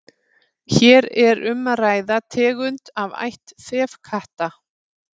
hér er um að ræða tegund af ætt þefkatta